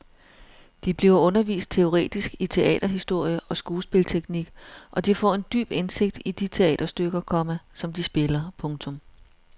De bliver undervist teoretisk i teaterhistorie og skuespilteknik og de får en dyb indsigt i de teaterstykker, komma som de spiller. punktum